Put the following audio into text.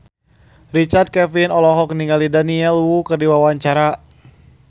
Richard Kevin olohok ningali Daniel Wu keur diwawancara